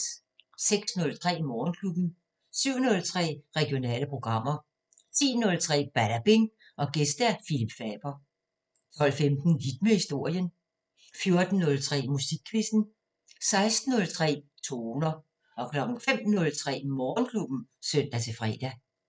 06:03: Morgenklubben 07:03: Regionale programmer 10:03: Badabing: Gæst Phillip Faber 12:15: Hit med historien 14:03: Musikquizzen 16:03: Toner 05:03: Morgenklubben (søn-fre)